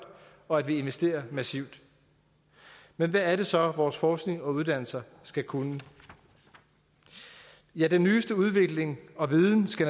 og at vi investerer massivt men hvad er det så vores forskning og uddannelse skal kunne ja den nyeste udvikling og viden skal